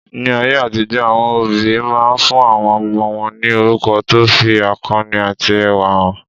Ní ayé àtijó, àwọn òbí máa ń fún àwọn ọmọ wọn ní orúkọ tó fi akọni àti ẹwà hàn.